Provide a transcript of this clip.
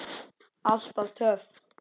Alltaf töff.